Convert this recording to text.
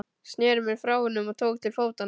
Sneri mér frá honum og tók til fótanna.